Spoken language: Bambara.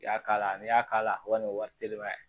I y'a k'a la n'i y'a k'a la walima ni wari teliman